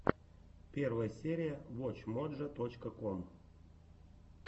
первая серия вотч моджо точка ком